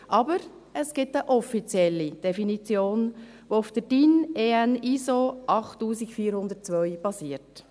Aber es gibt eine offizielle Definition, die auf der Norm DIN EN ISO 8402 basiert: